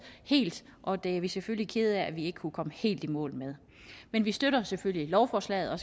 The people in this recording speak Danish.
helt og det er vi selvfølgelig kede af at vi ikke kunne komme helt i mål med men vi støtter selvfølgelig lovforslaget og